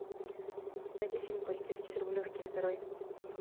найди фильм полицейский с рублевки второй